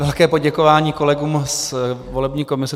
Velké poděkování kolegům z volební komise.